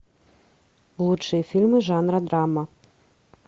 лучшие фильмы жанра драма